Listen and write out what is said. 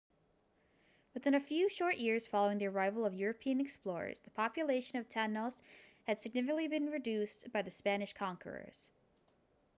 within a few short years following the arrival of european explorers the population of tainos had significantly been reduced by the spanish conquerors